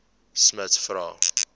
smuts vra